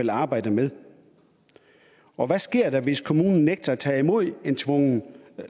vil arbejde med og hvad sker der hvis kommunen nægter at tage imod et tvungent